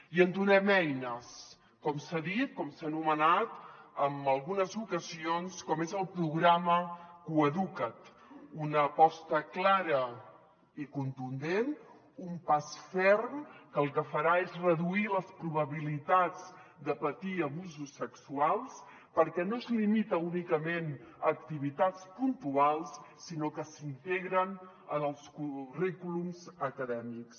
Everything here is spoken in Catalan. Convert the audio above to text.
i en donem eines com s’ha dit com s’ha anomenat en algunes ocasions com és el programa coeduca’t una aposta clara i contundent un pas ferm que el que farà és reduir les probabilitats de patir abusos sexuals perquè no es limi·ta únicament a activitats puntuals sinó que s’integren en els currículums acadèmics